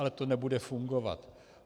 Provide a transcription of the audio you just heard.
Ale to nebude fungovat.